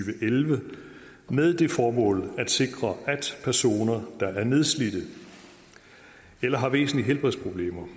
og elleve med det formål at sikre at personer der er nedslidte eller har væsentlige helbredsproblemer